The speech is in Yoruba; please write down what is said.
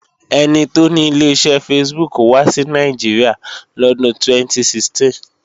Ẹni tó ni Ileṣẹ́ Facebook wá sí Nàìjíríà lọ́dún 2016